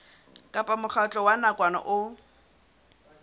kapa mokgatlo wa nakwana o